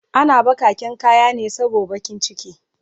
Ana bakaken kayane sabo bakiciki